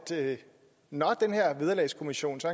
når den her vederlagskommission så